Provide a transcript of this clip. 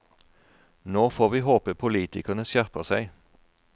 Nå får vi håpe politikerne skjerper seg.